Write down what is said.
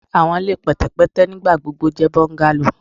Awọn ile pẹtẹpẹtẹ nigbagbogbo jẹ bungalows